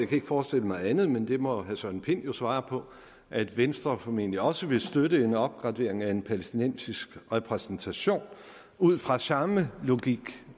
kan ikke forestille mig andet men det må herre søren pind jo svare på at venstre formentlig også vil støtte en opgradering af en palæstinensisk repræsentation ud fra samme logik